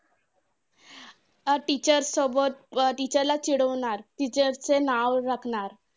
अं teacher सोबत अं teacher ला चिडवणार, teacher चे नाव रखणार.